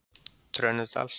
Trönudal